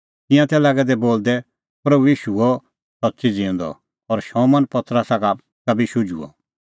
तिंयां तै लागै दै बोलदै प्रभू ईशू हुअ सच्च़ी ज़िऊंदअ और शमौन पतरसा का बी शुझुअ